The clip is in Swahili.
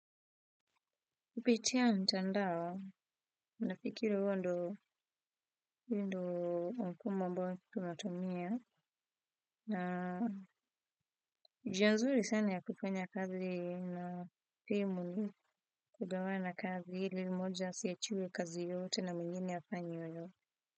Kipitia mtandao, nafikiri huo ndo huo ndo mfuma ambao tunatumia, na njia nzuri sana ya kufanya kazi na family kugawana kazi ili moja asiachiwe kazi yote na mwengine hayafanyi hayo.